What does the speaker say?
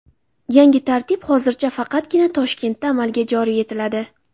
Yangi tartib hozircha faqatgina Toshkentda amalga joriy etiladi.